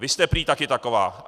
Vy jste prý taky taková.